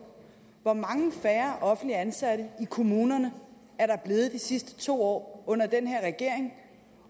hvor mange færre offentligt ansatte i kommunerne er der blevet de sidste to år under den her regering